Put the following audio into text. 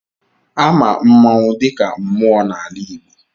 Ama mmanwụ dịka mmụọ n'ala Igbo.